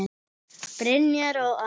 Brynjar og Anna.